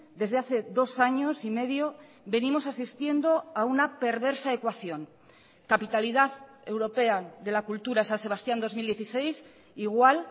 desde hace dos años y medio venimos asistiendo a una perversa ecuación capitalidad europea de la cultura san sebastián dos mil dieciséis igual